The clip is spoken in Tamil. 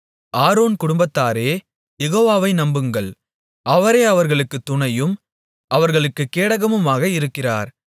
ஆரோன் குடும்பத்தாரே யெகோவாவை நம்புங்கள் அவரே அவர்களுக்குத் துணையும் அவர்களுக்குக் கேடகமுமாக இருக்கிறார்